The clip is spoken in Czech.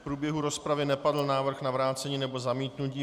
V průběhu rozpravy nepadl návrh na vrácení nebo zamítnutí.